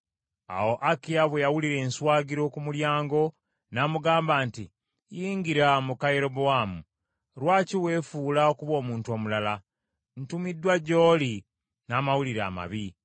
Awo Akiya bwe yawulira enswagiro ku mulyango, n’amugamba nti, “Yingira muka Yerobowaamu. Lwaki weefuula okuba omuntu omulala? Ntumiddwa gy’oli n’amawulire amabi.